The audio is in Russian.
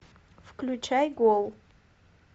включай гол